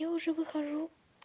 я уже выхожу